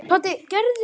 Skó og aftur skó.